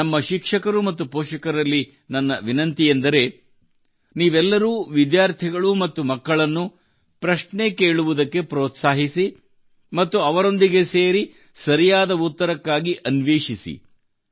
ನಮ್ಮ ಶಿಕ್ಷಕರು ಮತ್ತು ಪೋಷಕರಲ್ಲಿ ನನ್ನ ವಿನಂತಿಯೆಂದರೆ ನೀವೆಲ್ಲರೂ ವಿದ್ಯಾರ್ಥಿಗಳು ಮತ್ತು ಮಕ್ಕಳನ್ನು ಪ್ರಶ್ನೆ ಕೇಳುವುದಕ್ಕೆ ಪ್ರೋತ್ಸಾಹಿಸಿ ಮತ್ತು ಅವರೊಂದಿಗೆ ಸೇರಿ ಸರಿಯಾದ ಉತ್ತರಕ್ಕಾಗಿ ಹುಡುಕಾಟ ನಡೆಸಿ